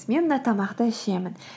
мен мына тамақты ішемін